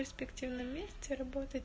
в перспективном месте работать